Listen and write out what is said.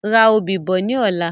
Ra òbí bọ̀ ni ọ̀la